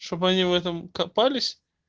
чтобы они в этом копались